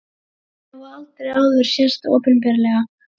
Verkin hafa aldrei áður sést opinberlega